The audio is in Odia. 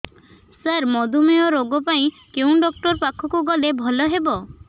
ସାର ମଧୁମେହ ରୋଗ ପାଇଁ କେଉଁ ଡକ୍ଟର ପାଖକୁ ଗଲେ ଭଲ ହେବ